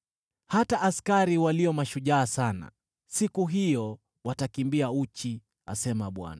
Hata askari walio mashujaa sana siku hiyo watakimbia uchi,” asema Bwana .